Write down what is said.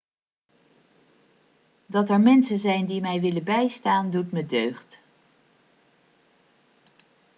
dat er mensen zijn die mij willen bijstaan doet me deugd